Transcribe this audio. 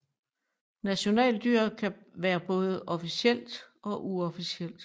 Nationaldyret kan være både officielt og uofficielt